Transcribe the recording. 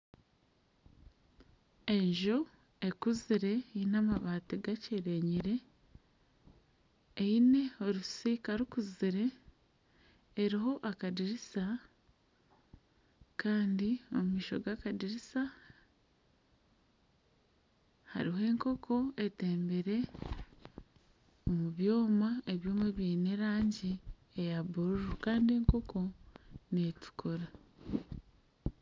Enju ekuzire eine amabati gakyerenyire eine orusiika rukuzire eruho akadirisa Kandi omumaisho g'akadirisa haruho enkoko etembire omubyoma , ebyoma byine erangi eya bururu kandi enkoko netukura.